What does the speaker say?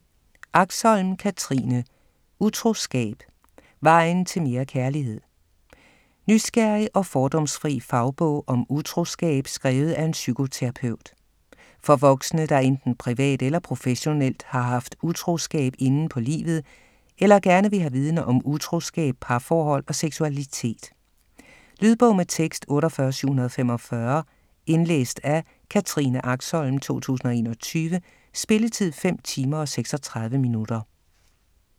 Axholm, Katrine: Utroskab: vejen til mere kærlighed? Nysgerrig og fordomsfri fagbog om utroskab skrevet af en psykoterapeut. For voksne, der enten privat eller professionelt har haft utroskab inde på livet eller gerne vil have viden om utroskab, parforhold og seksualitet. Lydbog med tekst 48745 Indlæst af Katrine Axholm, 2021. Spilletid: 5 timer, 36 minutter.